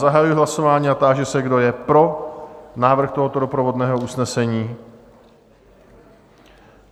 Zahajuji hlasování a táži se, kdo je pro návrh tohoto doprovodného usnesení?